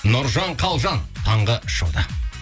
нұржан қалжан таңғы шоуда